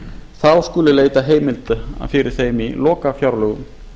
þá skuli leita heimilda fyrir þeim í lokafjárlögum